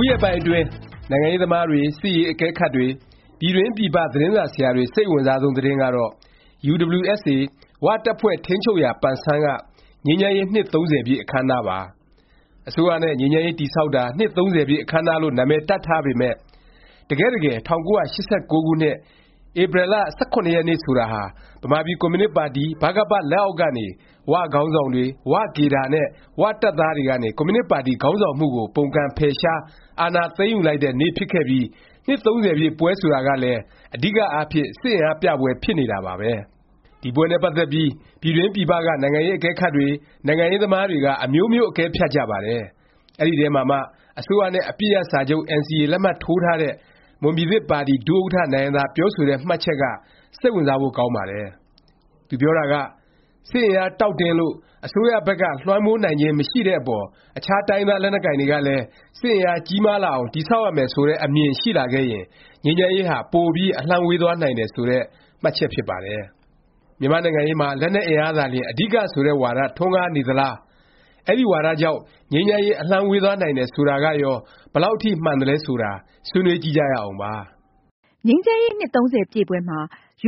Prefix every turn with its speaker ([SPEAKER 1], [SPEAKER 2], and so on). [SPEAKER 1] ုရက်ပိုင်းအတွင်း နိုင်ငံရေးသမားတွေ၊ စစ်ရေး အကဲခတ်တွေ၊ ပြည်တွင်း ပြည်ပ သတင်းစာဆရာတွေ စိတ်အဝင်စားဆုံး သတင်းကတော့ UWSA “ဝ” တပ်ဖွဲ့ထိန်းချုပ်ရာ ပန်ဆန်း က ငြိမ်းချမ်းရေး နှစ် ၃၀ ပြည့် အခန်းအနားပါ။ အစိုးရနဲ့ ငြိမ်းချမ်းရေး တည်ဆောက်တာ နှစ် ၃၀ ပြည့်အခန်းအနားလို့ နာမည်တပ်ထားပေမယ့် တကယ့်တကယ် ၁၉၈၉ ခုနှစ် ဧပြီလ ၁၇ ရက်နေ့ ဆိုတာဟာ ဗမာပြည်ကွန်မြူနစ်ပါတီ ဗကပ လက်အောက်ကနေ ၀ ခေါင်းဆောင်တွေ၊ ၀ ကေဒါနဲ့ ၀ တပ်သားတွေ ကနေ ကွန်မြူနစ်ပါတီ ခေါင်းဆောင်မှုကို ပုန်ကန် ဖယ်ရှား၊ အာဏာသိမ်းယူလိုက်တဲ့ နေ့ဖြစ်ခဲ့ပြီး နှစ် ၃၀ ပြည့် ပွဲဆိုတာကလည်း အဓိကအားဖြင့် စစ်အင်အားပြပွဲ ဖြစ်နေတာပါပဲ။ ဒီပွဲနဲ့ ပတ်သက်ပြီး ပြည်တွင်း ပြည်ပက နိုင်ငံရေး အကဲခတ်တွေ၊ နိုင်ငံရေးသမားတွေက အမျိုးမျိုး အကဲဖြတ်ကြပါတယ်။ အဲဒီအထဲမှာမှ အစိုးရနဲ့ အပစ်ရပ်စာချုပ် NCA လက်မှတ်ထိုးထားတဲ့ မွန်ပြည်သစ်ပါတီ ဒုဥက္ကဌ နိုင်ဟံသာ ပြောဆိုတဲ့ မှတ်ချက်က စိတ်ဝင်စားဖို့ ကောင်းပါတယ်။ သူပြောတာက “စစ်အင်အား တောင့်တင်းလို့ အစိုးရဖက်က လွှမ်းမိုးနိုင်ခြင်း မရှိတဲ့အပေါ် အခြား တိုင်းရင်းသား လက်နက်ကိုင်တွေကလည်း စစ်အင်အားကြီးမားလာအောင် တည်ဆောက်ရမယ် ဆိုတဲ့ အမြင် ရှိလာခဲ့ရင် ငြိမ်းချမ်းရေးဟာ ပိုပြီး အလှမ်းဝေးသွားနိုင်တယ်” ဆိုတဲ့ မှတ်ချက် ဖြစ်ပါတယ်။ မြန်မာ့နိုင်ငံရေးမှာ လက်နက်အင်အား သာလျင် အဓိက ဆိုတဲ့ ဝါဒ ထွန်းကားနေသလား၊ အဲဒီ ဝါဒကြောင့် ငြိမ်းချမ်းရေး အလှမ်းဝေးသွားနိုင်တယ် ဆိုတာကရော ဘယ်လောက်အထိ မှန်သလဲ ဆိုတာ ဆွေးနွေးကြည့်ကြရအောင်ပါ
[SPEAKER 2] ။ ငြိမ်းချမ်းရေး နှစ် ၃၀ ပြည့်ပွဲမှာ